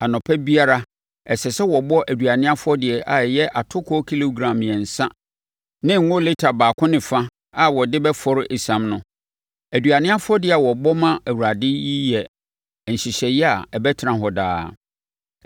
Anɔpa biara ɛsɛ sɛ wobɔ aduane afɔdeɛ a ɛyɛ atokoɔ kilogram mmiɛnsa ne ngo lita baako ne fa a wɔde bɛfɔre esiam no. Aduane afɔdeɛ a wɔbɔ ma Awurade yi yɛ nhyehyɛeɛ a ɛbɛtena hɔ daa.